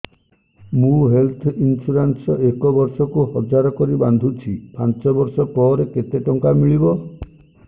ମୁ health insurance ଏକ ବର୍ଷକୁ ହଜାର କରି ବାନ୍ଧୁଛି ପାଞ୍ଚ ବର୍ଷ ପରେ କେତେ ଟଙ୍କା ମିଳିବ